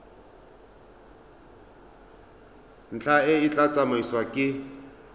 ntlha e tla tsamaisiwa ke